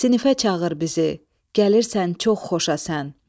Sinifə çağır bizi, gəlirsən çox xoşa sən.